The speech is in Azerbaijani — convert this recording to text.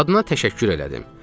Qadına təşəkkür elədim.